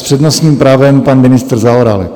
S přednostním právem pan ministr Zaorálek.